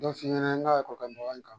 Dɔ f'i ɲɛnɛ n ka karamɔgɔ ya kan .